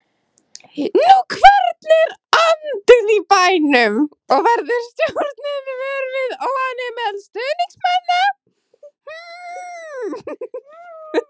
Hvernig er andinn í bænum og verður stjórnin var við óánægju meðal stuðningsmanna?